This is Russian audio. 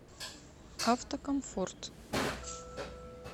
автокомфорт